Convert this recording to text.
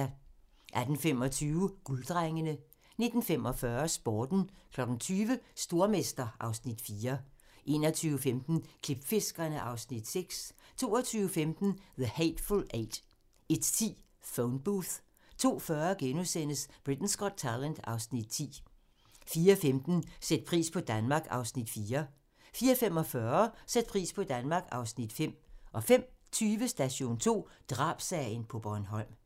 18:25: Gulddrengene 19:45: Sporten 20:00: Stormester (Afs. 4) 21:15: Klipfiskerne (Afs. 6) 22:15: The Hateful Eight 01:10: Phone Booth 02:40: Britain's Got Talent (Afs. 10)* 04:15: Sæt pris på Danmark (Afs. 4) 04:45: Sæt pris på Danmark (Afs. 5) 05:20: Station 2: Drabssagen på Bornholm